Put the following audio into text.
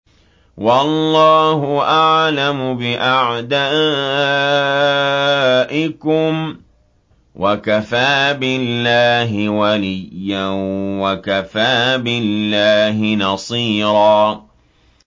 وَاللَّهُ أَعْلَمُ بِأَعْدَائِكُمْ ۚ وَكَفَىٰ بِاللَّهِ وَلِيًّا وَكَفَىٰ بِاللَّهِ نَصِيرًا